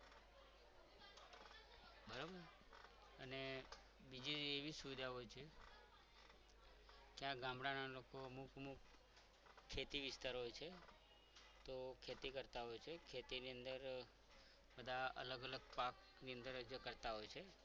બીજી એવી સુવિધાઓ છે કે આ ગામડાના લોકો અમુક અમુક ખેતી વિસ્તાર હોય છે તો ખેતી કરતા હોય છે કે તેની અંદર બધા અલગ અલગ પાકની અંદર જ કરતા હોય છે